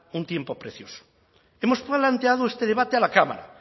un tiempo precioso hemos planteado este debate a la cámara